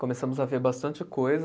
Começamos a ver bastante coisa,